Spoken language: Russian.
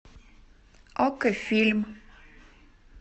окко фильм